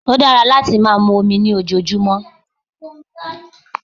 Ó dára láti máa mu omi lójoojúmọ́